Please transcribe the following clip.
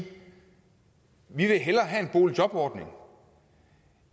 vi vil hellere have en boligjobordning